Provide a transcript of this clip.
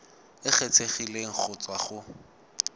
e kgethegileng go tswa go